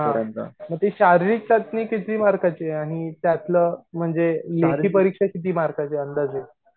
हा म ते शारीरिक चाचणी किती मार्काचीये आणि त्यातलं म्हणजे लेखी परीक्षा किती मार्काची अंदाजे